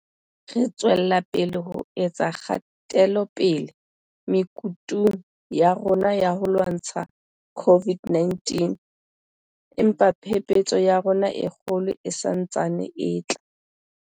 Re tswela pele ho etsa kgatelopele mekutung ya rona ya ho lwantsha COVID 19, empa phephetso ya rona e kgolo e sa ntse e tla.